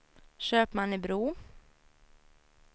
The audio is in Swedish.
Köpmannebro